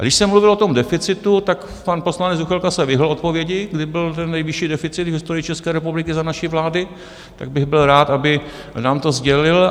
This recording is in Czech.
A když jsem mluvil o tom deficitu, tak pan poslanec Juchelka se vyhnul odpovědi, kdy byl ten nejvyšší deficit v historii České republiky za naší vlády, tak bych byl rád, aby nám to sdělil.